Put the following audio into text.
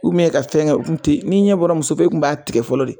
ka fɛngɛ o tun tɛ yen, n'i ɲɛ bɔra muso fɛ i kun b'a tigɛ fɔlɔ de.